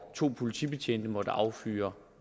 to politibetjente måtte affyre